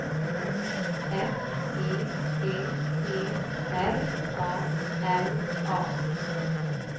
F E D E R A L A